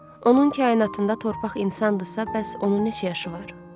Onun kainatında torpaq insandisa, bəs onun neçə yaşı var?